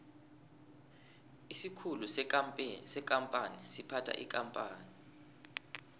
isikhulu sekampani siphatha ikampani